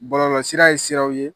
Bɔlɔlɔsira ye siraw ye